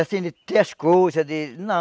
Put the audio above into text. Assim, de ter as coisas, de... não.